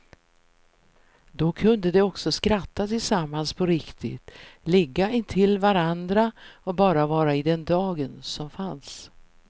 Då kunde de också skratta tillsammans på riktigt, ligga intill varandra och bara vara i den dagen som fanns.